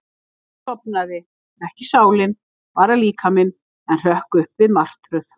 Ég sofnaði, ekki sálin, bara líkaminn, en hrökk upp við martröð.